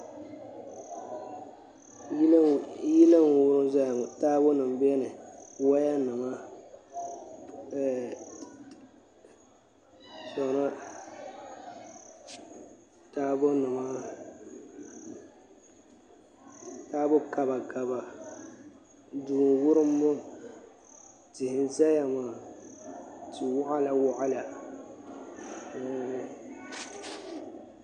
Yili n wurim ʒɛya ŋɔ taabo nim biɛni woya nima taabo nima taabo kaba kaba duu n wurim ŋɔ tia n ʒɛya ŋɔ tia waɣala waɣala n nyɛli